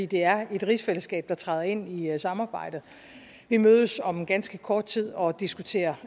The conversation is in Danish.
det er et rigsfællesskab der træder ind i samarbejdet vi mødes om ganske kort tid og diskuterer